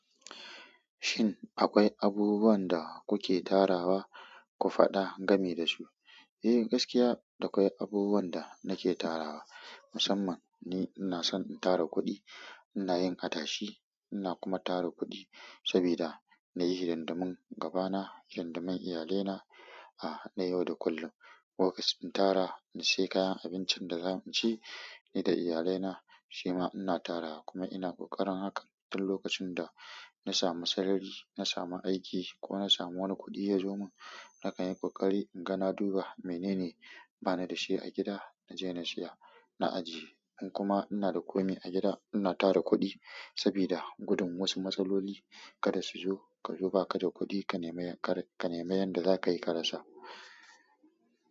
Shin akwai abubuwan da kuke tarawa ku faɗa game da su? Eh, gaskiya da akwai abubuwan da nake tarawa. Musamman ni ina son in tara kuɗi, ina yin adashi, ina kuma tara kuɗi saboda na yi hidindimun gabana, da na iyalaina na yau da kullum. Lokacin in tara, in sai kayan abincin da zamu ci ni da iyalaina, shima ina tarawa kuma ina ƙoƙarin hakan, duk lokacin da na samu sarari, na samu aiki ko na samu wani kuɗi ya zo min. Na kan yi ƙoƙari in ga na duba menene bani da shi a gida na je na siya, na ajiye. In kuma ina da komai a gida, ina tara kuɗi saboda gudun wasu matsaloli. Kada su zo, ka zo ba ka da kuɗi ka nemi, ka nemi yanda za ka yi ka rasa.